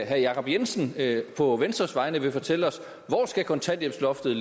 herre jacob jensen på venstres vegne vil fortælle os hvor kontanthjælpsloftet